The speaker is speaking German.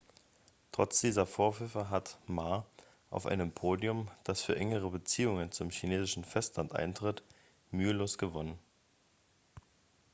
trotz dieser vorwürfe hat ma auf einem podium das für engere beziehungen zum chinesischen festland eintritt mühelos gewonnen.x